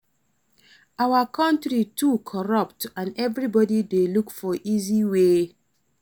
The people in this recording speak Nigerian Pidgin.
Our country too corrupt and everybody dey look for easy way our/